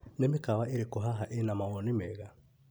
Nĩ mĩkawa ĩrĩkũ haha ĩna mawoni mega?